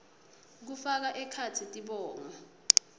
kufaka ekhatsi tibongo